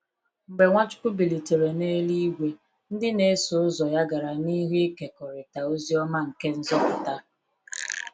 Mgbe Nwachukwu bilitere n’eluigwe, ndị na-eso ụzọ ya gara n’ihu ịkekọrịta ozi ọma nke nzọpụta.